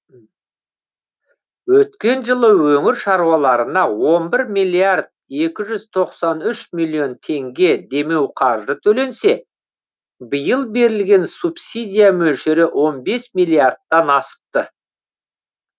өткен жылы өңір шаруаларына он бір миллиард екі жүз тоқсан үш миллион теңге демеуқаржы төленсе биыл берілген субсидия мөлшері он бес миллиардтан асыпты